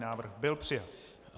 Návrh byl přijat.